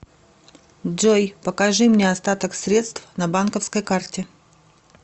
джой покажи мне остаток средств на банковской карте